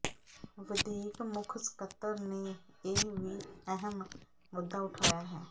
ਵਧੀਕ ਮੁੱਖ ਸਕੱਤਰ ਨੇ ਇਹ ਵੀ ਅਹਿਮ ਮੁੱਦਾ ਉਠਾਇਆ ਹੈ